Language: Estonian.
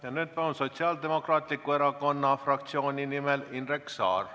Ja nüüd palun siia Sotsiaaldemokraatliku Erakonna fraktsiooni nimel Indrek Saare!